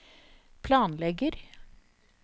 planlegger